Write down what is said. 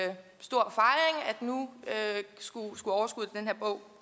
nu skulle overskuddet